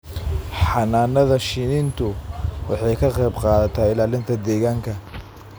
Xannaanada shinnidu waxay ka qayb qaadataa ilaalinta deegaanka.